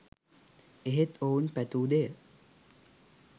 එහෙත් ඔවුන් පැතූ දෙය